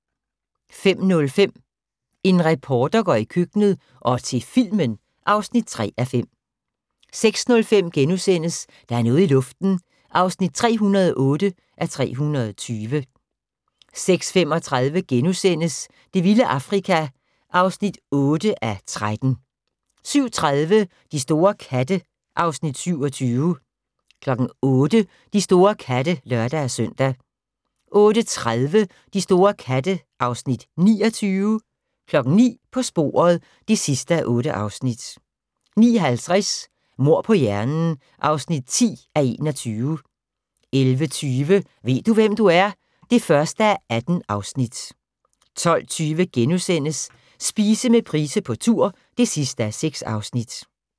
05:05: En reporter går i køkkenet - og til filmen (3:5) 06:05: Der er noget i luften (308:320)* 06:35: Det vilde Afrika (8:13)* 07:30: De store katte (Afs. 27) 08:00: De store katte (lør-søn) 08:30: De store katte (Afs. 29) 09:00: På sporet (8:8) 09:50: Mord på hjernen (10:21) 11:20: Ved du hvem du er? (1:18) 12:20: Spise med Price på tur (6:6)*